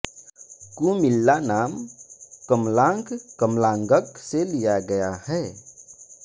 कुमिल्ला नाम कमलांक कमलाङ्क से लिया गया है